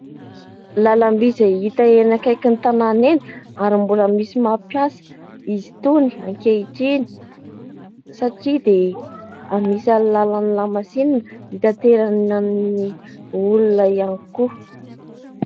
Lalam-by izay hita eny akaikin'ny tanàna eny ary mbola misy mampiasa izy itony ankehitriny satria dia anisan'ny lalan'ny lamasinina hitanterana ny olona ihany koa.